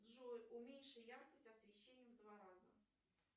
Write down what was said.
джой уменьши яркость освещения в два раза